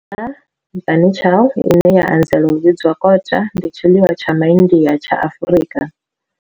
Kota, bunny chow, ine ya anzela u vhidzwa kota, ndi tshiḽiwa tsha MaIndia tsha Afrika.